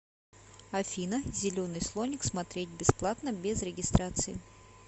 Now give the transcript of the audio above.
афина зеленый слоник смотреть бесплатно без регистрации